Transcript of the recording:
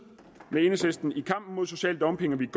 med enhedslisten i kampen mod social dumping vi